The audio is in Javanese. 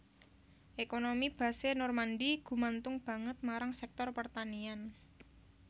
Ekonomi Basse Normandie gumantung banget marang sektor pertanian